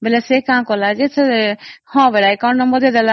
ସେ ତା account number ଦେଇ ଦେଲା